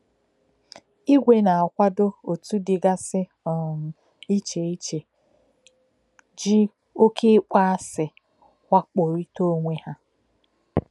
Ìgwè na-akwádò òtù dìgasị um iche iche jí òké ị́kpọ̀ásì wakpòríta onwe ha.